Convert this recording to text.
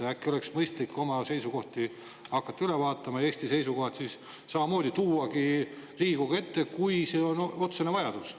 Äkki oleks mõistlik hakata oma seisukohti üle vaatama ja siis Eesti seisukohad samamoodi tuua Riigikogu ette, kui see on otsene vajadus.